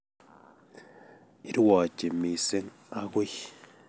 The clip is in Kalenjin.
Irwochi mising agui